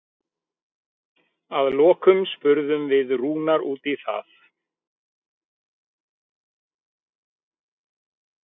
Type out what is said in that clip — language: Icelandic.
Að lokum spurðum við Rúnar út í það?